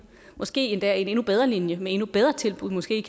måske endda en endnu bedre linje med endnu bedre tilbud måske